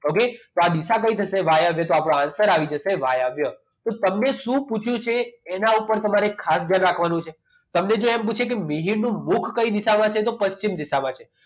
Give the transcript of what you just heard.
okay તો આ દિશા કઈ થશે વાયવ્ય તો આપણો answer આવી જશે વાયવ્ય તો તમને શું પૂછ્યું છે એના ઉપર તમારે ખાસ ધ્યાન આપવાનું છે તમને જે એને પૂછ્યું છે કે મિહિરનું મુખ કઈ દિશામાં છે તો પશ્ચિમ દિશામાં છે.